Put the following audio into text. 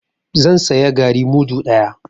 Zan saya garri mudu ɗaya.